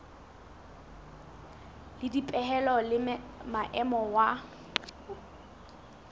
le dipehelo le maemo wa